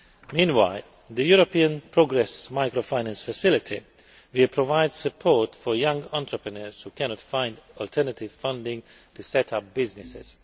Meanwhile, the European Progress Microfinance Facility will provide support for young entrepreneurs who cannot find alternative funding to set up businesses.